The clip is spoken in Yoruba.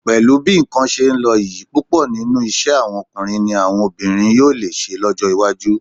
Pẹ̀lú bí nǹkan ṣe ń lọ yìí, púpọ̀ nínú iṣẹ́ àwọn ọkùnrin ni àwọn obìnrin yóò lè ṣe lọ́jọ́ iwájú